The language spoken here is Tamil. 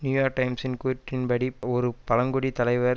நியூ யோர்க் டைம்ஸின் கூற்றின்படி ஒரு பழங்குடி தலைவர்